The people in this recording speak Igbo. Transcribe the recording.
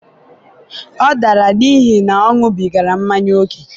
ọ dara n'ihi na ọ ṅubigara manya ókè.